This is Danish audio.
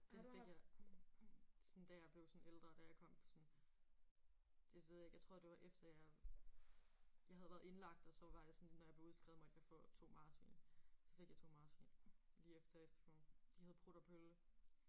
Det fik jeg sådan da jeg blev sådan ældre. Da jeg kom på sådan det ved jeg ikke jeg tror det var efter jeg jeg havde været indlagt og så var jeg sådan når jeg blev udskrevet måtte jeg få to marsvin. Så fik jeg to marsvin. Lige efter sådan. De hed Prut og Pølle